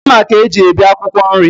Mma ka e ji ebi akwụkwọ nri.